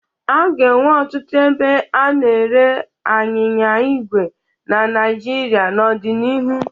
A ga-enwe ọtụtụ ebe a na-ere anyịnya igwe na Naịjirịa n'ọdịnihu.